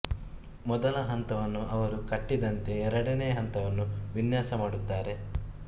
ಮೊದಲ ಹಂತವನ್ನು ಅವರು ಕಟ್ಟಿದಂತೆ ಎರಡನೇ ಹಂತವನ್ನು ವಿನ್ಯಾಸ ಮಾಡುತ್ತಾರೆ